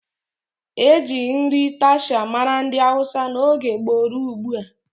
Eji nri taushe mara ndị hausa n'oge gboo rụọ ugbua